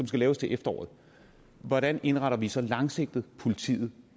skal laves til efteråret hvordan indretter vi så langsigtet politiet